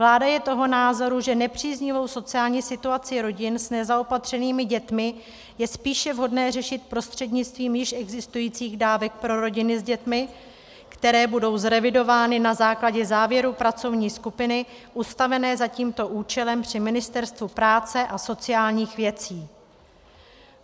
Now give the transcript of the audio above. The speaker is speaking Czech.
Vláda je toho názoru, že nepříznivou sociální situaci rodin s nezaopatřenými dětmi je spíše vhodné řešit prostřednictvím již existujících dávek pro rodiny s dětmi, které budou zrevidovány na základě závěrů pracovní skupiny ustavené za tímto účelem při Ministerstvu práce a sociálních věcí.